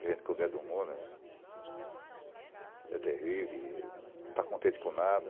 A gente, quando é do mundo, é terrível, não está contente com nada.